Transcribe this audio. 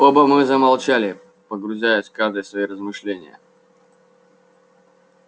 оба мы замолчали погрузясь каждый в свои размышления